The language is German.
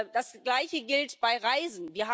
Das gleiche gilt bei Reisen.